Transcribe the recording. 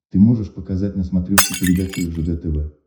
ты можешь показать на смотрешке передачу ржд тв